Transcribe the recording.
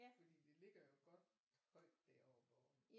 Fordi det ligger jo godt højt deroppe og